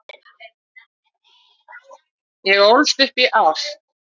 Ég ólst upp í ást.